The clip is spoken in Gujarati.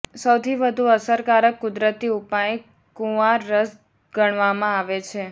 સૌથી વધુ અસરકારક કુદરતી ઉપાય કુંવાર રસ ગણવામાં આવે છે